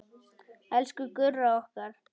Elsku Gurra okkar.